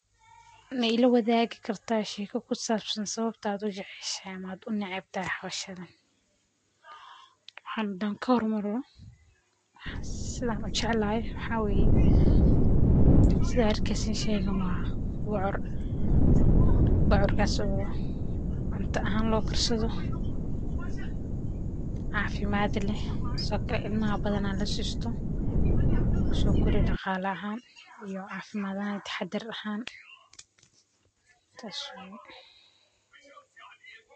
Waxaan hada kahor maro sidhaa ujeclahay maxa waye sidhaa arkeysin sheeygan waa bocor, bocorkas oo cunto ahan lokarsadho, cafimad leh, intabadhan ilmaha lasisto sii uu cafimadkodha taam unoqdho.